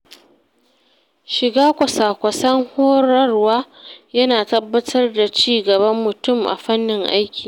Shiga kwasa-kwasan horarwa ya na tabbatar da ci gaban mutum a fannin aiki.